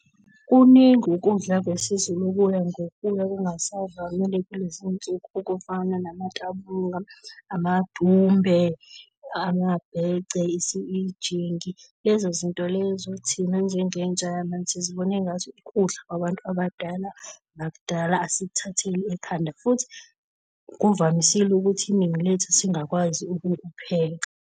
Kuningi ukudla kwesiZulu okuya ngokuya kungasavamile kulezinsuku okufana namatabunga, amadumbe, amabhece, isijingi. Lezo zinto lezo thina njengentsha yamanje sizibona engathi ukudla kwabantu abadala nakudala, asikuthathile ekhanda. Futhi kuvamisile ukuthi iningi lethu singakwazi ukukupheka.